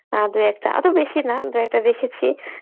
আ দুই একটা আদৌ বেশি না দু একটা দেখেছি